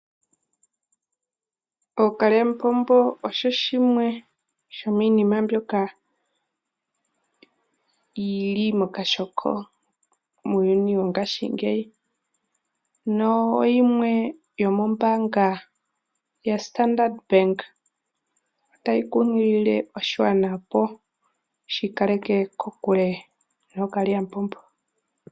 Ookalyamupombo osho shimwe shomiinima mbyoka yili mokashoko muuyuni wongashingeyi, noyimwe yomombaanga yaStandard bank otayi kunkilile oshigwana opo shi kaleke kokule ookalyamupombo.